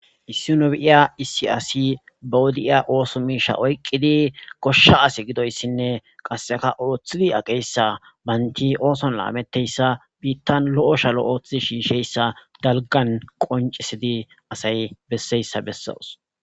issi nobiiya isi asi bawodi7iya ooso miisha oyqqidi koshsha asi gidoyssinne qasseka ooththidi aqeyssa baynti ooson laametteyssa biittan lo7o shalo ooththidi shiisheyssa dalgan qoncisidi asay besseyssa bessas